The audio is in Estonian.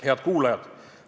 Head kuulajad!